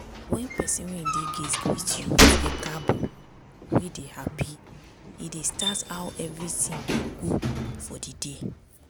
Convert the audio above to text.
when persin wey dey gate greet you with “e kaabo” wey dey happy e dey start how everything go good for the day.